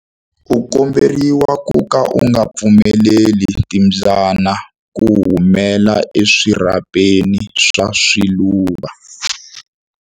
U komberiwa ku ka u nga pfumeleli timbyana ku humela eswirhapeni swa swiluva.